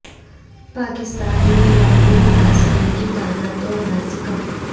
پاکستان میں یومیہ متاثرین کی تعداد دو ہزار سے کم